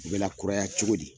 U bɛ lkuraya cogo di?